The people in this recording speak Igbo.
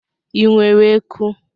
Ị nwere eku?